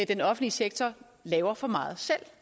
den offentlige sektor laver for meget selv